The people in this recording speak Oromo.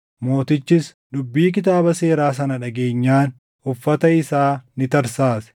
Mootichis dubbii Kitaaba Seeraa sana dhageenyaan uffata isaa ni tarsaase.